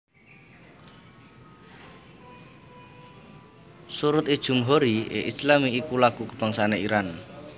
Sorood e Jomhoori e Eslami iku lagu kabangsané Iran